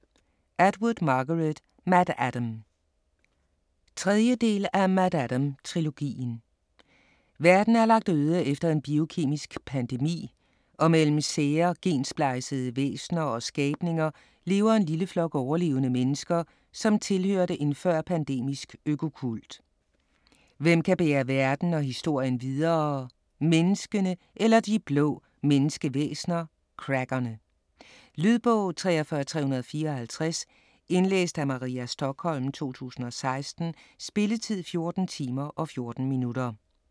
Atwood, Margaret: MaddAddam 3. del af MaddAddam-trilogien. Verden er lagt øde efter en biokemisk pandemi, og mellem sære, gensplejsede væsner og skabninger lever en lille flok overlevende mennesker, som tilhørte en før-pandemisk økokult. Hvem kan bære verden og historien videre - menneskene eller de blå menneskevæsner Crakerne? Lydbog 43354 Indlæst af Maria Stokholm, 2016. Spilletid: 14 timer, 14 minutter.